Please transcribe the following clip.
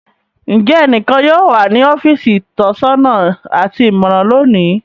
Njẹ ẹnikan yóò wa ni ọfiisi itọsọna ati imọran loni?